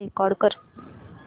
call record कर